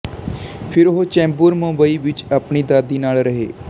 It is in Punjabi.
ਫਿਰ ਉਹ ਚੈਂਬੂਰ ਮੁੰਬਈ ਵਿੱਚ ਆਪਣੀ ਦਾਦੀ ਨਾਲ ਰਹੇ